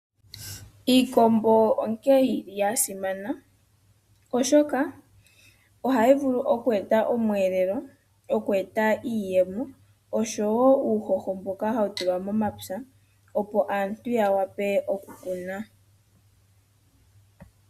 Iikombo onke yili yasimana oshoka ohayi vulu oku eta omwelelo, oku eta iiyemo oshowo uuhoho mboka hawu tulwa momapya opo aantu yawa pe oku kuna.